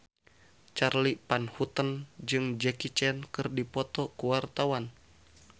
Charly Van Houten jeung Jackie Chan keur dipoto ku wartawan